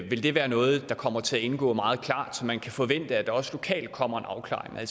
vil det være noget der kommer til at indgå meget klart så man kan forvente at der også lokalt kommer en afklaring